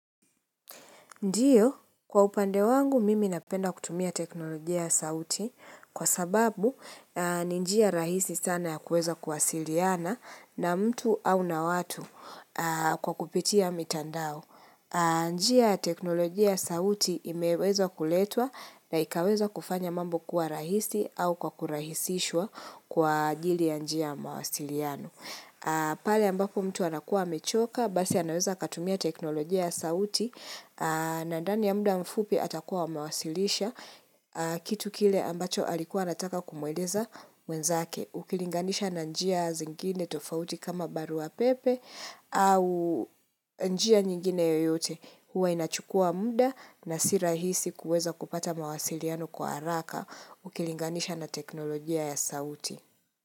Ndiyo, kwa upande wangu mimi napenda kutumia teknolojia sauti kwa sababu ni njia rahisi sana ya kuweza kuwasiliana na mtu au na watu kwa kupitia mitandao. Njia ya teknolojia sauti imeweza kuletwa na ikaweza kufanya mambo kuwa rahisi au kwa kurahisishwa kwa ajili ya njia ya mawasiliano. Pale ambapo mtu anakuwa mechoka, basi anaweza katumia teknolojia ya sauti na ndani ya muda mfupi atakuwa amewasilisha kitu kile ambacho alikuwa anataka kumweleza mwenzake ukilinganisha na njia zingine tofauti kama barua pepe au njia nyingine yoyote huwa inachukua muda na sirahisi kuweza kupata mawasiliano kwa haraka Ukilinganisha na teknolojia ya sauti.